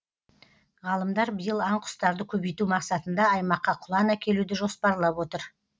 ғалымдар биыл аң құстарды көбейту мақсатында аймаққа құлан әкелуді жоспарлап отыр